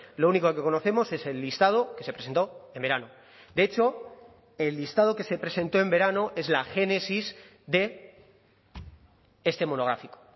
lo único que conocemos es el listado que se presentó en verano de hecho el listado que se presentó en verano es la génesis de este monográfico